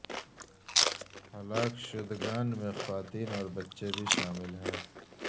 ہلاک شدگان میں خواتین اور بچے بھی شامل ہیں